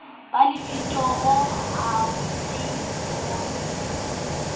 ba lefitori ha se bonwe